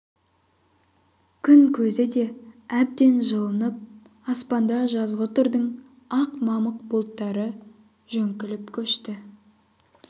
күн көзі де әбден жылынып аспанда жазғытұрдың ақ мамық бұлттары жөңкіліп көшті